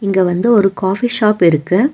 இங்க வந்து ஒரு காஃபி ஷாப் இருக்கு.